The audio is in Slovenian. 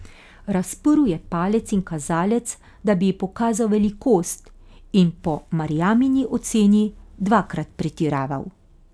Razprl je palec in kazalec, da bi ji pokazal velikost in po Marjamini oceni dvakrat pretiraval.